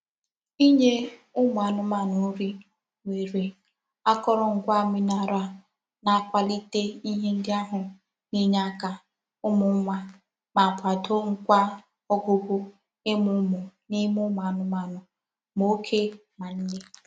Inye umu anumanu nri nwere akorongwa mineral na-akwalite ihe ndi ahu na-enye aka umu nwa ma kwado Kwa ogugo imu umu n'ime umu anumanu ma oke ma nne.